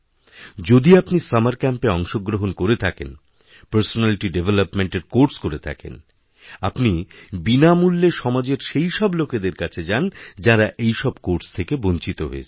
যদি আপনি সামার ক্যাম্পেঅংশগ্রহণ করে থাকেন পার্সোনালিটিডেভলপমেন্ট এরকোর্স করে থাকেন আপনি বিনামূল্যে সমাজের সেই সব লোকেদের কাছে যান যাঁরা এই সবকোর্স থেকে বঞ্চিত হয়েছেন